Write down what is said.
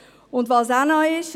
Was auch noch ist: